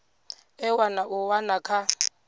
ewa na u wana kha